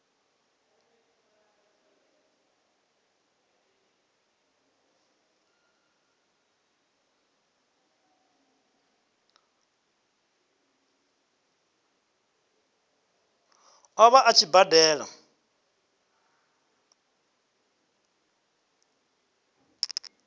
ṱo ḓa a tshi badela